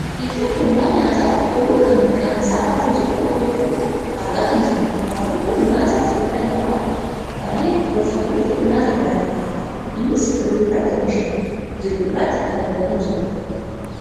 Biqiltuu kuduraa nyaataaf oolu kan maqaan isaa raafuu jedhamuun beekkamu argaa kan jirrudha. Raafuun kun nyaata fayyaa namaaf naayyee gorfamuufi nyaata madaalammaadha. Innis ooyiruu irratti oomishaamaa jiru irraatti kan argamu jirudha.